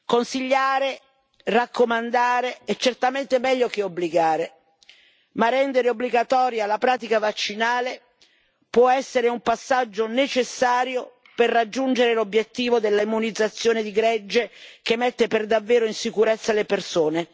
Consigliare e raccomandare è certamente meglio che obbligare ma rendere obbligatoria la pratica vaccinale può essere un passaggio necessario per raggiungere l'obiettivo della immunizzazione di gregge che mette per davvero in sicurezza le persone.